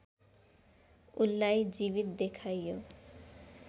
उनलाई जीवित देखाइयो